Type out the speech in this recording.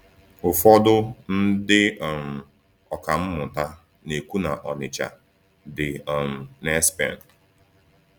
Ụfọdụ ndị um ọkà mmụta na-ekwu na Ọnịcha dị um n’Espen.